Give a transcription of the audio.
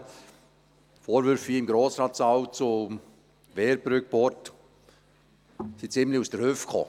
Die Vorwürfe hier im Grossratssaal zur Wehrbrücke Port sind ziemlich aus der Hüfte geschossen.